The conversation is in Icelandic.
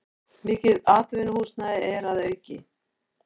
Mikið atvinnuhúsnæði er að auki